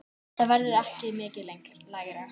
Það verður ekki mikið lægra.